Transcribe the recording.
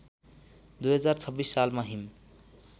२०२६ सालमा हिम